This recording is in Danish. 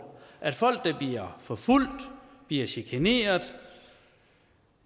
at folk der bliver forfulgt bliver chikaneret